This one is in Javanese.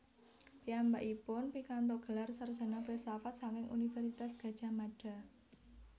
Piyambakipun pikantuk gelar sarjana filsafat saking Universitas Gadjah Mada